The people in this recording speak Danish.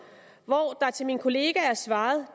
og til min kollega er svaret